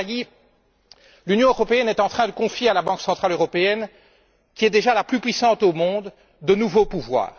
Monsieur Draghi, l'Union européenne est en train de confier à la Banque centrale européenne, qui est déjà la plus puissante au monde, de nouveaux pouvoirs.